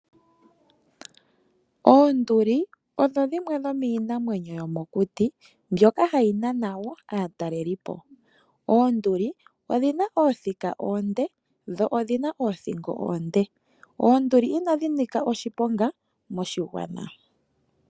Oonduli odho dhimwe dhomiinamwenyo yomokuti mbyoka hayi nana wo aatalelelipo. Oonduli odhina oothika oonde dho odhina oothingo oonde. Oonduli inadhi nika oshiponga moshigwana.